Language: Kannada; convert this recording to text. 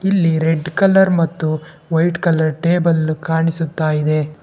ಇಲ್ಲಿ ರೆಡ್ ಕಲರ್ ಮತ್ತು ವೈಟ್ ಕಲರ್ ಟೇಬಲ್ ಕಾಣಿಸುತ್ತಾ ಇದೆ.